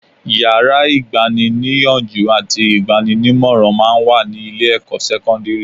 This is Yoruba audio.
Yàrá ìgbani-níyànjú àti ìgbaninímọ̀ràn máa ń wà ní ilé-ẹ̀kọ́ sẹ́kọ́ndírì